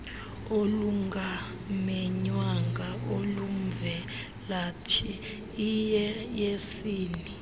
olungamenywanga olumvelaphi iyeyesini